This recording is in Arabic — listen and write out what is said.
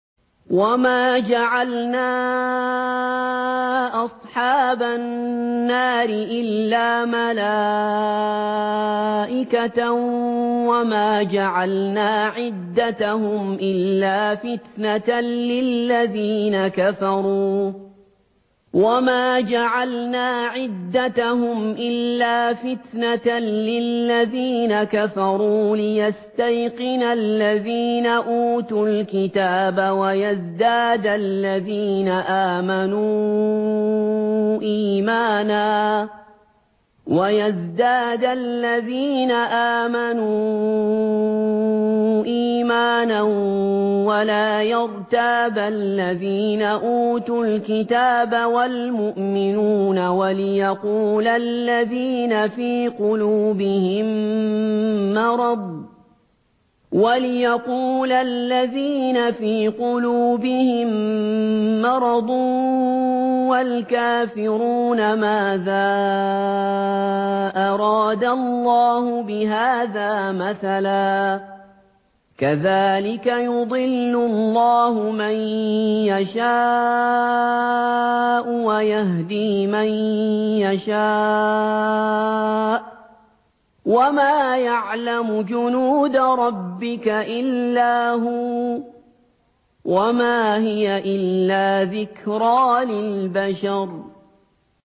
وَمَا جَعَلْنَا أَصْحَابَ النَّارِ إِلَّا مَلَائِكَةً ۙ وَمَا جَعَلْنَا عِدَّتَهُمْ إِلَّا فِتْنَةً لِّلَّذِينَ كَفَرُوا لِيَسْتَيْقِنَ الَّذِينَ أُوتُوا الْكِتَابَ وَيَزْدَادَ الَّذِينَ آمَنُوا إِيمَانًا ۙ وَلَا يَرْتَابَ الَّذِينَ أُوتُوا الْكِتَابَ وَالْمُؤْمِنُونَ ۙ وَلِيَقُولَ الَّذِينَ فِي قُلُوبِهِم مَّرَضٌ وَالْكَافِرُونَ مَاذَا أَرَادَ اللَّهُ بِهَٰذَا مَثَلًا ۚ كَذَٰلِكَ يُضِلُّ اللَّهُ مَن يَشَاءُ وَيَهْدِي مَن يَشَاءُ ۚ وَمَا يَعْلَمُ جُنُودَ رَبِّكَ إِلَّا هُوَ ۚ وَمَا هِيَ إِلَّا ذِكْرَىٰ لِلْبَشَرِ